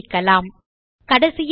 சுருக்கமாக இருக்க டெம்ப் என டைப் செய்யலாம்